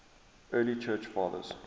early church fathers